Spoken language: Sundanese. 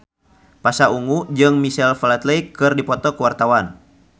Pasha Ungu jeung Michael Flatley keur dipoto ku wartawan